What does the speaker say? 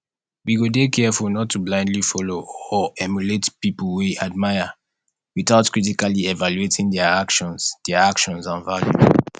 we go dey careful not to blindly follow or emulate people we admire without critically evaluating dia actions dia actions and values